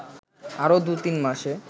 আরও দু’তিন মাসে